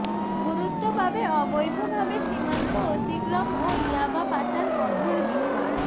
গুরুত্ব পাবে অবৈধভাবে সীমান্ত অতিক্রম ও ইয়াবা পাচার বন্ধের বিষয়